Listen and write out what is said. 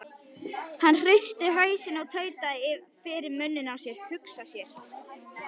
Hann hristi hausinn og tautaði fyrir munni sér: Hugsa sér.